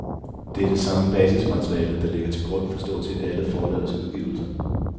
Det er det samme basismateriale, der ligger til grund for stort set alle forlagets udgivelser.